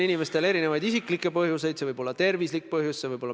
Eile õhtust alates olen ma tõsiselt juurelnud rahvusringhäälingus kõlanud tsitaadi üle.